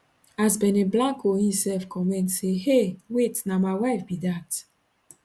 as benny blanco imsef comment say hey wait na my wife be dat